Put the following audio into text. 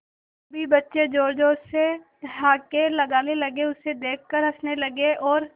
सभी बच्चे जोर जोर से ठहाके लगाने लगे उसे देख कर हंसने लगे और